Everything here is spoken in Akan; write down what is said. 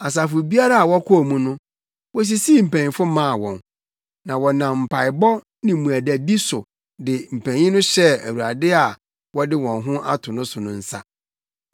Asafo biara a wɔkɔɔ mu no, wosisii mpanyimfo maa wɔn; na wɔnam mpaebɔ ne mmuadadi so de mpanyimfo no hyɛɛ Awurade a wɔde wɔn ho ato no so no nsa.